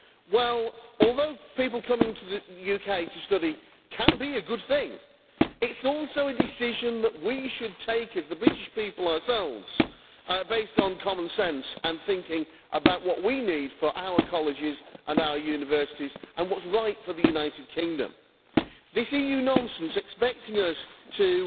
Well, although people coming to the UK to study can be a good thing, it is also a decision that we should take as the British people ourselves, based on common sense and thinking about what we need for our colleges and our universities and what is right for the United Kingdom. This EU nonsense, expecting us to